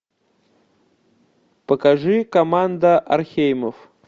покажи команда орхеймов